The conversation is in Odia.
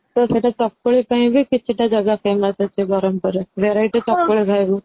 ତ ସେଇଟା ଚକୁଳି ପାଇଁ ବି କିଛି ଟା ଜଗା famous ଅଛି ବରମପୁରରେ variety ଚକୁଳି ଖାଇବୁ